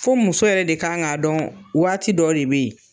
Fo muso yɛrɛ de kan ka dɔn waati dɔ de bɛ ye.